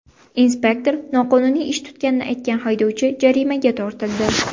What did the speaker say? Inspektor noqonuniy ish tutganini aytgan haydovchi jarimaga tortildi.